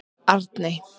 Arey